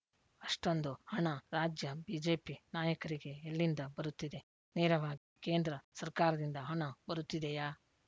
ಅಷ್ಟೊಂದು ಹಣ ರಾಜ್ಯ ಬಿಜೆಪಿ ನಾಯಕರಿಗೆ ಎಲ್ಲಿಂದ ಬರುತ್ತಿದೆ ನೇರವಾಗಿ ಕೇಂದ್ರ ಸರ್ಕಾರದಿಂದ ಹಣ ಬರುತ್ತಿದೆಯಾ